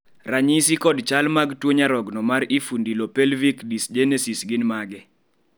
ranyisi kod chal mag tuo nyarogno mar infundilopelvic dysgenesis gin mage?